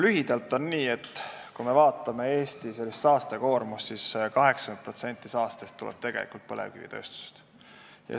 Lühidalt öeldes on nii, kui me vaatame Eesti saastekoormust, siis näeme, et 80% saastest tuleb põlevkivitööstusest.